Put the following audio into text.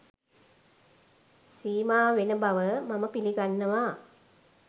සීමා වෙන බව මම පිළිගන්නවා